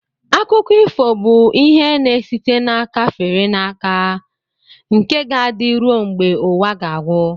Akụkọ ifo bụ ihe na-esite n'aka fere aka nke ga-adị ruo mgbe ụwa ga-agwụ